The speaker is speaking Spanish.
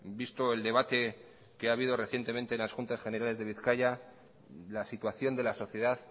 visto el debate que ha habido recientemente en las juntas generales de bizkaia la situación de la sociedad